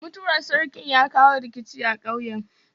Mutuwar sarkin ya kawo rikici a ƙauyen.